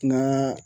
N ka